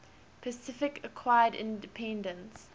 pacific acquired independence